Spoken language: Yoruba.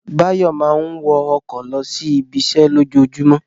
Báyọ̀ máa ń wọ ọkọ̀ lọ sí ibiṣẹ́ lójoojúmọ́